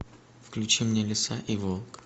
включи мне лиса и волк